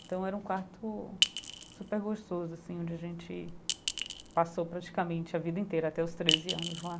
Então era um quarto super gostoso, assim, onde a gente passou praticamente a vida inteira até os treze anos lá.